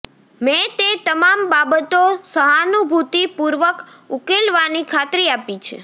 મેં તે તમામ બાબતો સહાનુભૂતિ પૂર્વક ઉકેલવાની ખાત્રી આપી છે